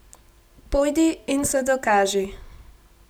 Pojdi in se dokaži!